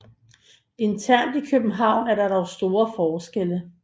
Internt i København er der dog store forskelle